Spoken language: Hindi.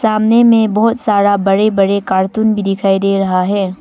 सामने में बहुत सारा बड़े बड़े कार्टून भी दिखाई दे रहा है।